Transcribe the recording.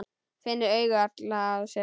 Finnur augu allra á sér.